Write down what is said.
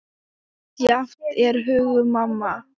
Misjafn er hugur manna